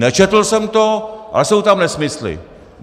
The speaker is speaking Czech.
Nečetl jsem to, ale jsou tam nesmysly!